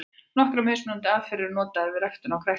Nokkrar mismunandi aðferðir eru notaðar við ræktun á kræklingi.